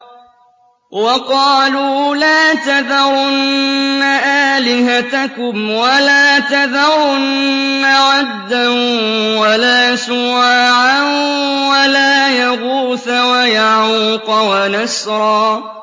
وَقَالُوا لَا تَذَرُنَّ آلِهَتَكُمْ وَلَا تَذَرُنَّ وَدًّا وَلَا سُوَاعًا وَلَا يَغُوثَ وَيَعُوقَ وَنَسْرًا